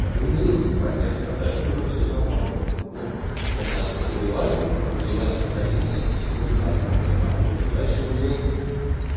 организуется протест а дальше уже всё само работает ну в том плане подогреваем подогревая настроения и всё и народ попрёт на улицу дальше уже